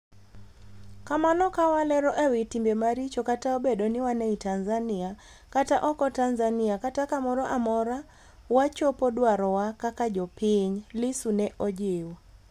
"kamano kawalero e wi timbe maricho kata obed ni wan e i Tanzania, kata oko Tanzania kata kamoro amora wachopo dwarowa kaka jopiny," Lissu ne ojiwo